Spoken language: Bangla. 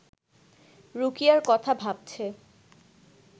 রুকিয়ার কথা ভাবছে